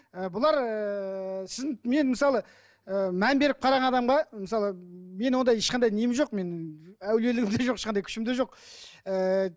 ііі бұлар ііі сіздің мен мысалы ііі мән беріп қараған адамға мысалы мен ондай ешқандай нем жоқ менің әулиелігім де жоқ ешқандай күшім де жоқ ііі